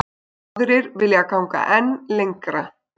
Aðrir vilja ganga enn lengra.